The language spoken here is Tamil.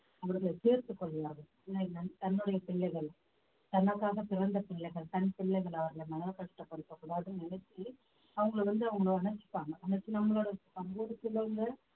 அவர்களை சேர்த்துக்கொள்ளுவாங்க தன்னுடைய பிள்ளைகள் தனக்காக பிறந்த பிள்ளைகள் தன் பிள்ளைகள் அவர்களை மனர~ கஷ்டப்படுத்தக் கூடாதுன்னு நினைச்சு அவங்களை வந்து அவங்க அணைச்சுப்பாங்க அணைச்சு நம்மளோட சமூகத்துல உள்ள